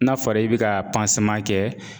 N'a fɔra i be ka kɛ.